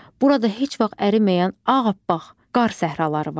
Burada heç vaxt əriməyən ağappaq qar səhraları var.